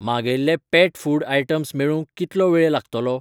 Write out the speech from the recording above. मागयिल्ले pet food items मेळूंक कितलो वेळ लागतलो ?